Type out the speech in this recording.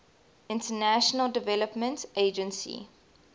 international development agency